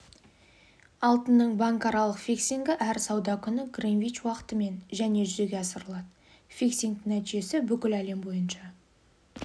алтынның банкаралық фиксингі әр сауда күні гринвич уақытымен және жүзеге асырылады фиксингтің нәтижесі бүкіл әлем бойынша